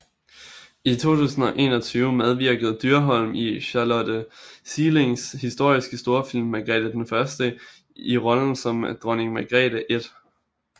I 2021 medvirkede Dyrholm i Charlotte Sielings historiske storfilm Margrete den Første i rollen som Dronning Margrete 1